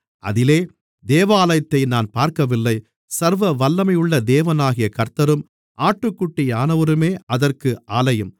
அதிலே தேவாலயத்தை நான் பார்க்கவில்லை சர்வவல்லமையுள்ள தேவனாகிய கர்த்தரும் ஆட்டுக்குட்டியானவருமே அதற்கு ஆலயம்